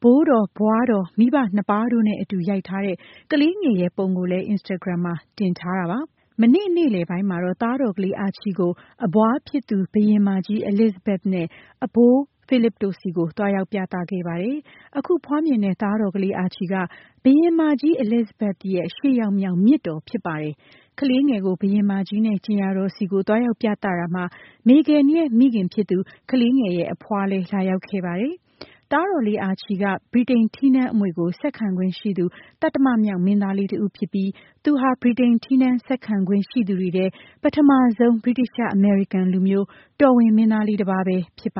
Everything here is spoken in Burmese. ။ ဘိုးတော်၊ ဘွားတော်၊ မိဘ ၂ ပါးတို့နဲ့ အတူ ရိုက်ထားတဲ့ ကလေးငယ်ရဲ့ ပုံကို လည်း Instagram မှာ တင်ထားတာပါ။ မနေ့ နေ့လည်ပိုင်းမှာတော့ သားတော်ကလေးကို အဘွားဖြစ်သူ ဘုရင်မကြီး Elizabethနဲ့ အဘိုး Philip တို့ဆီ သွားရောက်ပြသခဲ့ပါတယ်။ အခုဖွားမြင်တဲ့ သားတော်လေး Archie က ဘုရင်မကြီး Elizabethရဲ့ ၈ ယောက်မြောက် မြစ်တော်ဖြစ်ပါတယ်။ ကလေးငယ်ကို ဘုရင်မကြီးနဲ့ ကြင်ယာတော်ဆီ သွားရောက်ပြသတာမှာ Meghan ရဲ့ မိခင်ဖြစ်သူ ကလေးငယ်ရဲ့ အဖွားလည်း လာရောက်ခဲ့ပါတယ်။ သားတော်လေး Archie က က ဗြိတိန် ထီးနန်း အမွေကို ဆက်ခံခွင့်ရှိသူ သတ္တမမြောက်မင်းသားလေး တဦးဖြစ်ပြီး သူဟာ ဗြိတိန် ထီးနန်း ဆက်ခံခွင့် ရှိသူတွေထဲ ပထမဆုံး ဗြိတိသျှ - အမေရိကန် လူမျိုး တော်ဝင်မင်းသားလေး တပါးပဲ ဖြစ်ပါ